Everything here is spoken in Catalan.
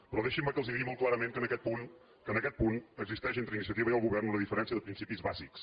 però deixin me que els digui molt clarament que en aquest punt existeix entre iniciativa i el govern una diferència de principis bàsics